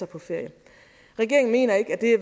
på ferie regeringen mener